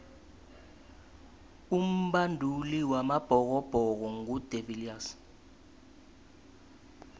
umbanduli wamabhokobhoko ngu de viliers